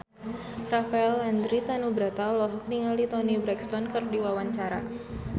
Rafael Landry Tanubrata olohok ningali Toni Brexton keur diwawancara